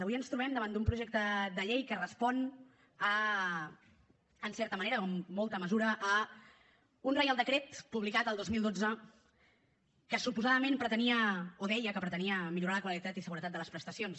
avui ens trobem davant d’un projecte de llei que respon en certa manera o en molta mesura a un reial decret publicat el dos mil dotze que suposadament pretenia o deia que pretenia millorar la qualitat i seguretat de les prestacions